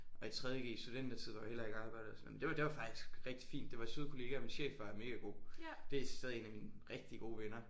Og i tredje g studentertid hvor vi heller ikke arbejdede og sådan men det var det var faktisk rigtig fint det var søde kollegaer og min chef var mega god det er stadig en af mine rigtig gode venner